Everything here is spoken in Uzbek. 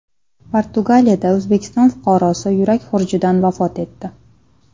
Portugaliyada O‘zbekiston fuqarosi yurak xurujidan vafot etdi.